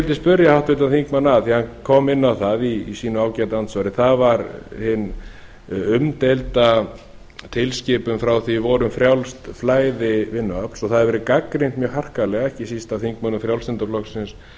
ég spyrja háttvirtan þingmann að því hann kom inn á það sínu ágæta andsvari það var hin umdeilda tilskipun frá því í vor um frjálst flæði vinnuafls það hefur verið gagnrýnt mjög harkalega ekki síst af þingmönnum frjálslynda flokksins